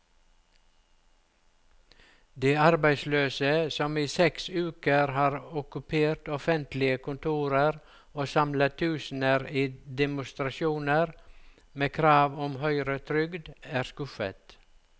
De arbeidsløse, som i seks uker har okkupert offentlige kontorer og samlet tusener i demonstrasjoner med krav om høyere trygd, er skuffet.